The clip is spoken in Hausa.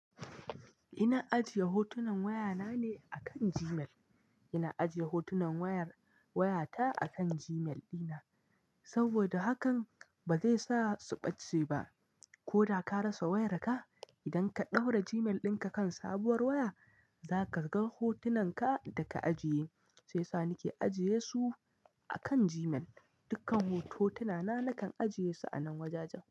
Ina ajiye hotunan wayana ne akan Gmail. Ina ajiye hotunan waya ta akan Gmail ɗina saboda hakan ba zai sa su ɓace ba. Ko da ka rasa wayarka, idan ka ɗaura Gmail dinka kan sabuwar waya, za ka ga hotunanka da ka ajiye. Shiyasa nake ajiye su akan Gmail. Dukkan hotunana nakan ajiye su a nan wajajen.